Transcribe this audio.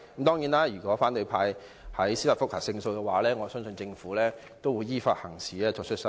當然，如果反對派在司法覆核中勝訴，我相信政府也會依法行事，作出修正。